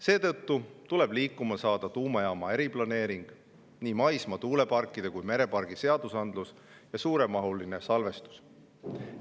Seetõttu tuleb liikuma saada tuumajaama eriplaneering, nii maismaa- kui meretuuleparkide seadusandlus ja suuremahuline salvestus.